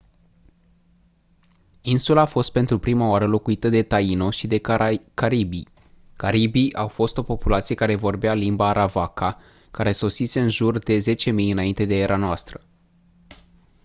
insula a fost pentru prima oară locuită de taino și de caribii caribii au fost o populație care vorbea limba arawakă care sosise în jur de 10.000 î.e.n